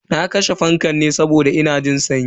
Na kashe fankan ne saboda ina jin sanyi.